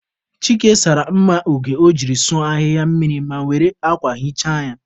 Chike sara mma oge o jiri sụọ ahịhịa mmiri ma were akwa hichaa ya.